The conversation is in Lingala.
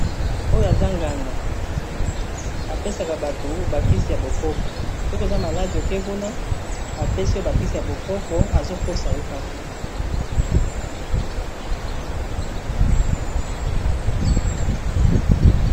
OYO aza nganga apesaka bato bakisi ya bokoko soki oza maladi oke kuna apesi yo bakisi ya bokoko azokosa yo kaka.